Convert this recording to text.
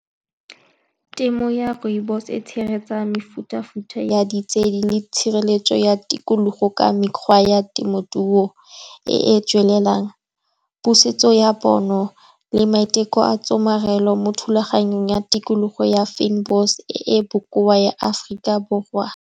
Temo ya rooibos-e e tshegetsa mefuta-futa ya ditshedi le tshireletso ya tikologo ka mekgwa ya temothuo e e tswelelang, pusetso ya pono le maiteko a tshomarelo mo thulaganyong ya tikologo ya e e bokoa ya Aforika Borwa.